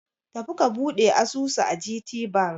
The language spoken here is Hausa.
Tafi ka buɗe asusu a GTBank!